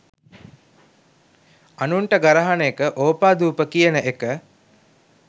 අනුන්ට ගරහන එක ඕපාදූප කියන එක